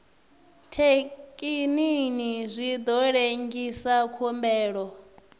thekinini zwi ḓo lengisa khumbelo